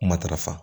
Matarafa